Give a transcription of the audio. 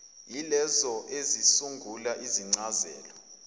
yilezo ezisungula izincazelo